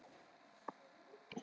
Elly, hvað er að frétta?